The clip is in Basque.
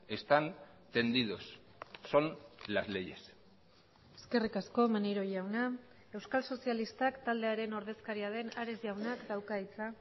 están tendidos son las leyes eskerrik asko maneiro jauna euskal sozialistak taldearen ordezkaria den ares jaunak dauka hitza